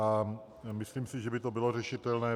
A myslím si, že by to bylo řešitelné.